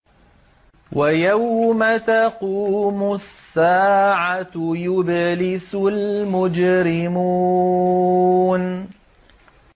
وَيَوْمَ تَقُومُ السَّاعَةُ يُبْلِسُ الْمُجْرِمُونَ